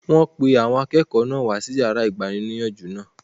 Wọ́n pe àwọn akẹ́kọ̀ọ́ náà wá sí yàrá igbaníniyànjú náà